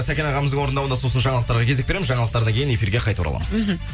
сәкен ағамыздың орындауында сосын жаңалықтарға кезек береміз жаңалықтардан кейін эфирге қайта ораламыз мхм